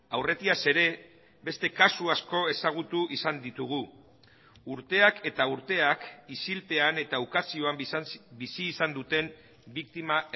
aurretiaz ere beste kasu asko ezagutu izan ditugu urteak eta urteak isilpean eta ukazioan bizi izan duten biktima